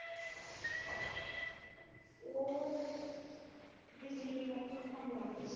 ਉਹ ਬਿਜਲੀ ਮਹਿਕਮੇ ਚ ਕੰਮ ਕਰਦੇ ਨੇ।